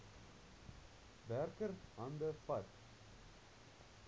werker hande vat